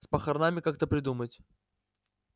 с похоронами как-то придумать